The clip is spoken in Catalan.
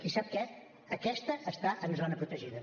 i sap què aquesta està en zona protegida